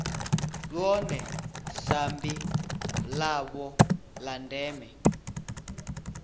ḽone sambi ḽavho ḽa ndeme